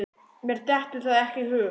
Mér dettur það ekki í hug.